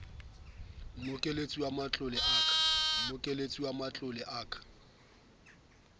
mmokelletsi wa matlole ya ka